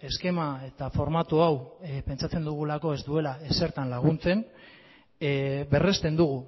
eskema eta formatu hau pentsatzen dugulako ez duela ezertan laguntzen berrezten dugu